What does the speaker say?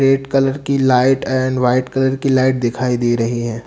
Red colour की light and white colour की light दिखाई दे रही हैं।